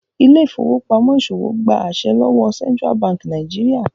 Ile-ifowopamọ ìṣòwò gbà àse lówó Central Bank Nigeria.